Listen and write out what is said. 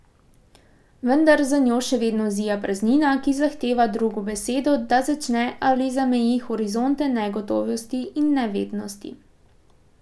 Vendar za njo še vedno zija praznina, ki zahteva drugo besedo, da začne ali zameji horizonte negotovosti in nevednosti.